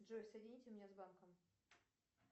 джой соедините меня с банком